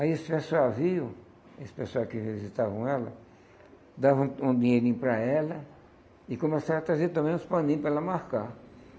Aí esse pessoal viam, esse pessoal que visitavam ela, davam um um dinheirinho para ela e começaram a trazer também uns paninhos para ela marcar.